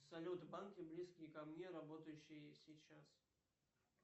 салют банки близкие ко мне работающие сейчас